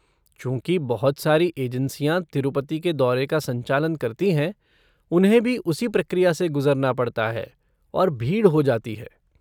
चूँकि बहुत सारी एजेंसियां तिरुपति के दौरे का संचालन करती हैं, उन्हें भी उसी प्रक्रिया से गुजरना पड़ता है, और भीड़ हो जाती है।